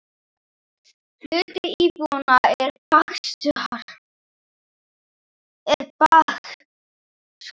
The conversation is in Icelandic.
Hluti íbúanna er Baskar.